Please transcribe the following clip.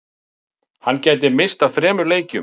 Hann gæti misst af þremur leikjum